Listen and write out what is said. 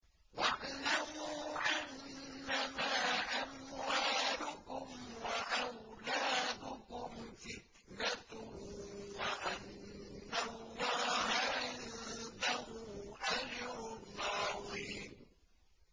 وَاعْلَمُوا أَنَّمَا أَمْوَالُكُمْ وَأَوْلَادُكُمْ فِتْنَةٌ وَأَنَّ اللَّهَ عِندَهُ أَجْرٌ عَظِيمٌ